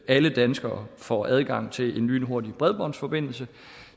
alle danskere får adgang til en lynhurtig bredbåndsforbindelse